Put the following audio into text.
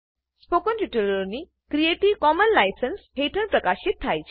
spoken ટ્યુટોરિયલોની creative commons licence હેઠળ પ્રકાશિત થાય છે